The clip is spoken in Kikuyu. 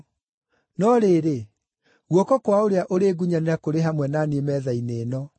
No rĩrĩ, guoko kwa ũrĩa ũrĩngunyanĩra kũrĩ hamwe na niĩ metha-inĩ ĩno.